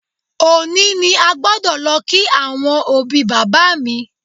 Òní ni a gbọ́dọ̀ lọ kí àwọn òbí bàbá mi